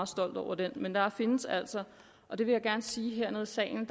stolt over den men der findes altså og det vil jeg gerne sige her i salen